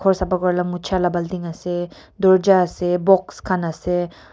ghor sapa kurela mucha la baltin ase dorja ase box khan ase.